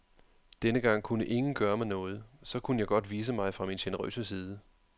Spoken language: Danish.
Denne gang kunne ingen gøre mig noget, så kunne jeg godt vise mig fra min generøse side.